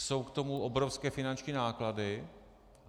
Jsou k tomu obrovské finanční náklady.